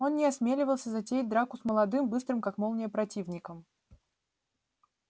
он не осмеливался затеять драку с молодым быстрым как молния противником